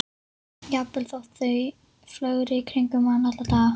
Jafnvel þótt þau flögri í kringum mann alla daga.